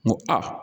N ko a